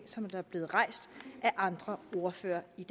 som er blevet rejst af andre ordførere i